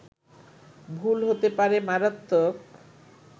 ভুল হতে পারে মারাত্মক